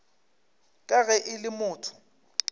ka ge e le motho